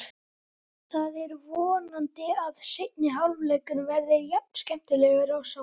Það er vonandi að seinni hálfleikurinn verði jafn skemmtilegur og sá fyrri.